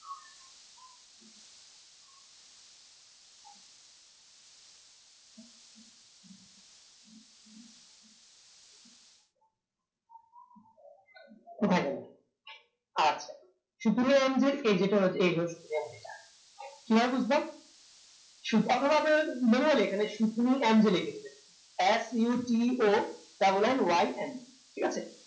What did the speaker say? কোথায় গেল আচ্ছা কিভাবে বুজলাম অথবা আপনাদের মনে হলে শুধু লিখে দিবেন sutonnyn ঠিক আছে